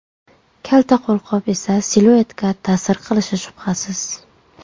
Kalta qo‘lqop esa siluetga ta’sir qilishi shubhasiz.